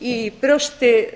í brjósti